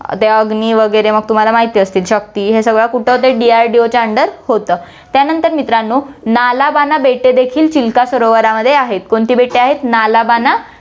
अं अग्नि वैगरे मग तुम्हाला माहित असतील हे सगळं कुठं होतं, DRDO च्या under होतं, त्यानंतर मित्रांनो, नालाबाना बेटे देखील चिल्का सरोवरामध्ये आहेत, कोणती बेटे आहेत, नालाबाना